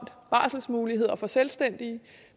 barselsmuligheder for selvstændige